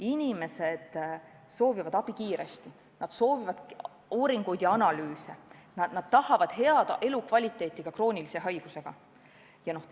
Inimesed soovivad abi kiiresti, nad soovivad uuringuid ja analüüse, nad tahavad head elukvaliteeti ka kroonilise haiguse korral.